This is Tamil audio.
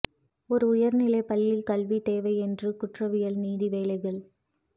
ஒரு உயர்நிலை பள்ளி கல்வி தேவை என்று குற்றவியல் நீதி வேலைகள்